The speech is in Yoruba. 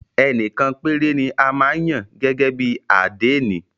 Ẹnìkan péré ni a máa ń yàn gẹ́gẹ́ bí àdénì.